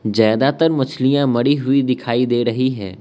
ज्यादातर मछलियां मरी हुई दिखाई दे रही है।